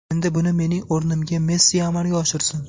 Endi buni mening o‘rnimga Messi amalga oshirsin.